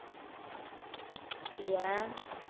ஏன்